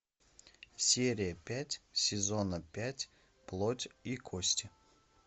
серия пять сезона пять плоть и кости